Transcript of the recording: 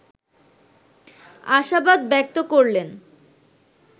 আশাবাদ ব্যক্ত করলেন